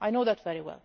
I know that very well.